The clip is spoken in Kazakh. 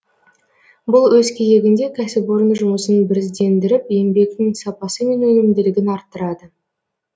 бұл өз кезегінде кәсіпорын жұмысын біріздендіріп еңбектің сапасы мен өнімділігін арттырады